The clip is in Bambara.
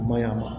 O maɲi a ma